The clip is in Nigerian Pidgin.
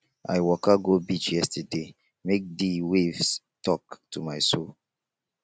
i waka go beach yesterday make di waves tok to my soul